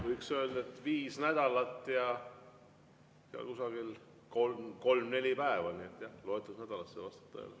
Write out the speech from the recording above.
Võiks öelda, et viis nädalat ja kolm-neli päeva on jäänud, nii et loetud nädalad, see vastab tõele.